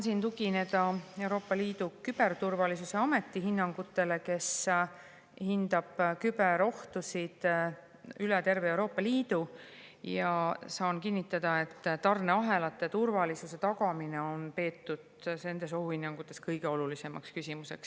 Saan tugineda Euroopa Liidu Küberturvalisuse Ameti hinnangutele, kes hindab küberohtusid üle terve Euroopa Liidu, ja kinnitada, et tarneahelate turvalisuse tagamist on peetud nendes ohuhinnangutes kõige olulisemaks küsimuseks.